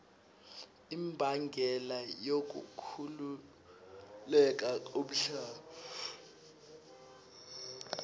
imbangela yokukhukhuleka komhlaba